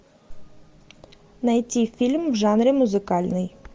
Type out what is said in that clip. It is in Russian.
найти фильм в жанре музыкальный